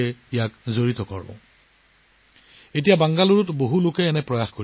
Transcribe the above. আজিকালি আৰু বহুতে বেংগালুৰুত এনে প্ৰচেষ্টা চলাইছে